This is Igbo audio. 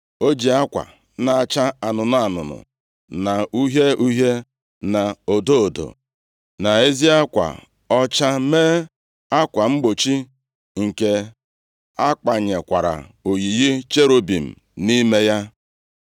O ji akwa na-acha anụnụ anụnụ, na uhie uhie, na odo odo, na ezi akwa ọcha, mee akwa mgbochi, nke a kpanyekwara oyiyi cherubim nʼime ya.